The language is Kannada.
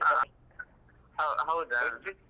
ಹ ಹೌ~ ಹೌದಾ.